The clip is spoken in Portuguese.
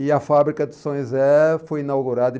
E a fábrica de São José foi inaugurada em